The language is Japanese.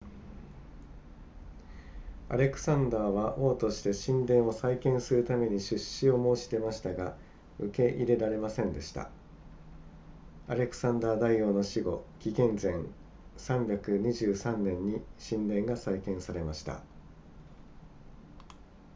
アレクサンダーは王として神殿を再建するために出資を申し出ましたが受け入れられませんでしたアレクサンダー大王の死後紀元前323年に神殿が再建されました